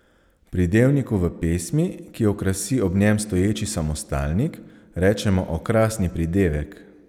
Pridevniku v pesmi, ki okrasi ob njem stoječi samostalnik, rečemo okrasni pridevek.